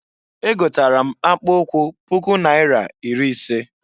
Egotara m akpụụkwụ puku naira iri ise.